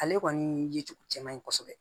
Ale kɔni ye cogo cɛman ye kosɛbɛ